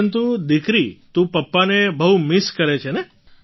પરંતુ દીકરી તું પાપાને બહુ મિસ કરે છે ને